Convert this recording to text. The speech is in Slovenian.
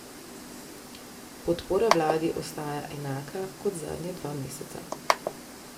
Podpora vladi ostaja enaka kot zadnja dva meseca.